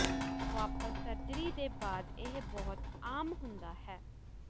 ਵਾਪਸ ਸਰਜਰੀ ਦੇ ਬਾਅਦ ਇਹ ਬਹੁਤ ਆਮ ਹੁੰਦਾ ਹੈ